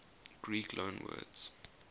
greek loanwords